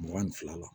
Mugan ni fila la